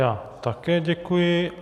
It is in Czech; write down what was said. Já také děkuji.